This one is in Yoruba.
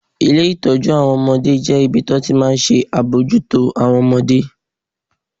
Ilé ìtọ́jú àwọn ọmọdé jẹ́ ibi tí wọ́n ti máa ń ṣe àbójútó àwọn ọmọdé